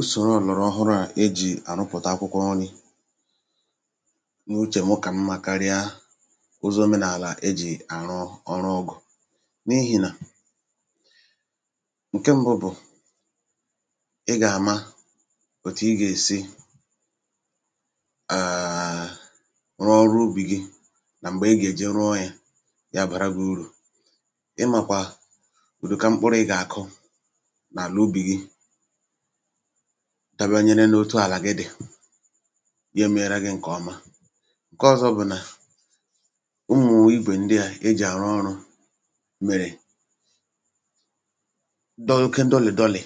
usòrò ọ̀lọ̀rọ̀ ọhụrụ à e jì àrụpụ̀ta akwụkwọri n’uchè m ọ kà mmȧ karịa ụzọ̇ omenààlà e jì àrụ ọrụ ọgụ̀ n’ihì na ǹke m̀bụ bụ̀ ịgà-àma òtù ịgà-èsi ààà rụọ ọrụ ubì gị nà m̀gbè ịgà-èji rụọ yȧ ya àbàra gị urù ịmàkwà ùduka mkpụrụ̇ ịgà-àkụ nà àla ubì gị dabanyere n’otu àlà gị dị̀ ya èmerenà gị ǹkè ọma ǹke ọzọ bụ̀ nà ụmụ̀mụ̀ igwè ndị à ejì àrụ ọrụ̇ mèrè dọ oke dọlị̀ dọlị̀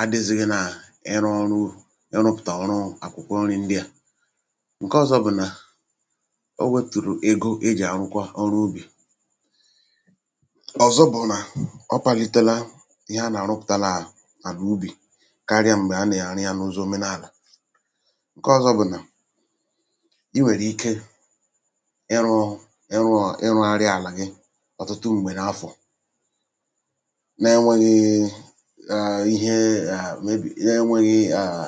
adịzịghị n’ịrụ ọrụ u ịrụpụ̀tà ọrụ ọrụ àkwụkwọ nri ndị à ǹke ọzọ bụ̀ nà o wetùrù ego e jì àrụkwa ọrụ ubì ọ̀zọ bụ̀ nà ọ palitela ihe a nà àrụpụ̀tàlà à àrụ ubì karịa m̀gbè a nà-àrụ ya n’ụzọ òmenàlà ǹkọọzọ bụ̀ nà i nwèrè ike ịrụ̇ ịrụ̇ ịrụ̇gharị àlà ghị ọ̀tụtụ m̀gbè n’afọ̀ n’enwėghii àà ihe à mebi̇ n’enwėghi àà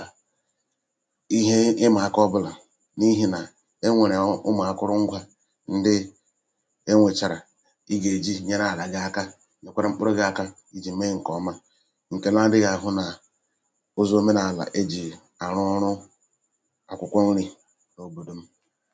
ihe ịmà aka ọbụlà n’ihì nà enwèrè ụmụ̀akụrụngwȧ ndị e nwèchàrà ị gà-èji nyere àlà gị aka nèkwara mkpụrụ gị̇ aka ijè mee ǹkèọma àrụ ọrụ